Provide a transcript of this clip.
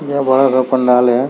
इहा बड़ा का पंडाल है।